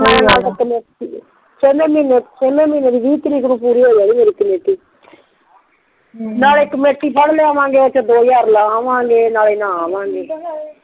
ਨਾਲੇ ਕਮੇਟੀ ਛੇਵੇ ਮਹੀਨੇ ਦੀ ਵੀਹ ਤਰੀਕ ਨੂ ਪੂਰੀ ਹੋ ਜਾਣੀ ਮੇਰੀ ਕਮੇਟੀ ਨਾਲੇ ਕਮੇਟੀ ਫੜ ਲਿਆਵਾਂਗੇ ਓਥੇ ਦੋ ਹਜ਼ਾਰ ਲੈ ਆਵਗੇ ਨਾਲੇ ਨਹਾ ਆਵਗੇ